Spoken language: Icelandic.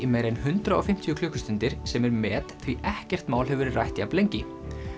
meira en hundrað og fimmtíu klukkustundir sem er met því ekkert mál hefur verið rætt jafn lengi